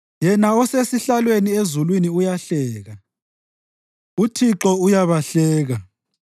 Yena osesihlalweni ezulwini uyahleka; uThixo uyabahleka.